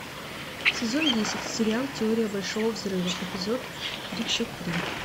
сезон десять сериал теория большого взрыва эпизод тридцать три